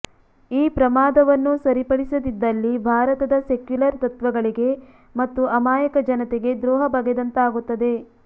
ಈ ಪ್ರಮಾದವನ್ನು ಸರಿಪಡಿಸದಿದ್ದಲ್ಲಿ ಭಾರತದ ಸೆಕ್ಯುಲರ್ ತತ್ವಗಳಿಗೆ ಮತ್ತು ಅಮಾಯಕ ಜನತೆಗೆ ದ್ರೋಹ ಬಗೆದಂತಾಗುತ್ತದೆ